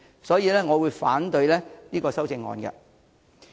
所以，我會反對郭議員的修正案。